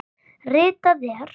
Ritað er